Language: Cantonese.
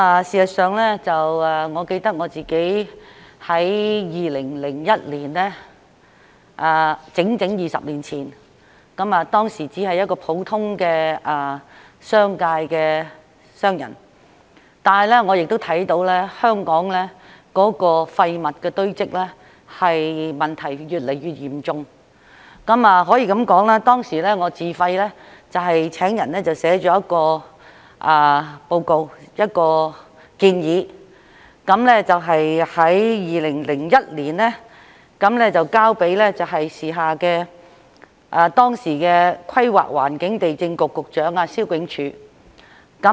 事實上，我記得我在2001年，即整整20年前，當時只是一個普通商人，但是，我亦看到香港的廢物堆積問題越來越嚴重，可以說，當時我自費請人撰寫了一份報告、一項建議，在2001年交給當時的規劃地政局局長蕭炯柱。